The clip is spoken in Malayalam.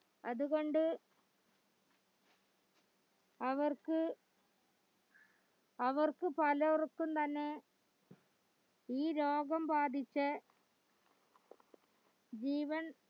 അതുകൊണ്ട് അവർക്ക് അവർക്ക് പലർക്കും തന്നെ ഈ രോഗം ബാധിച് ജീവൻ